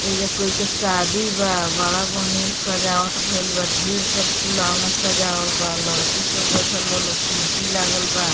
एजा कोई के शादी बा बड़ा बढ़िया सजावट भइल बा ढेर सब फुलवना सजावल बा लड़की सब बइठल बा कुर्शी लागल बा।